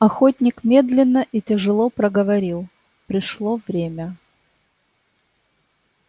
охотник медленно и тяжело проговорил пришло время